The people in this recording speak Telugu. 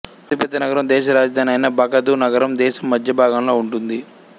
అతిపెద్ద నగరం దేశరాజధాని అయిన బాగ్దాదు నగరం దేశం మద్యభాగంలో ఉంటుంది